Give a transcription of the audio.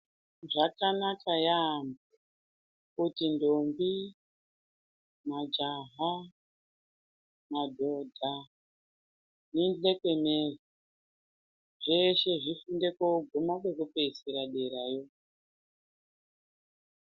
Zvakanaka yaambo kuti ndombi, majaha ,madhodha zveshe zvifunde kusvika kwekuguma kwekupedzisira derayo.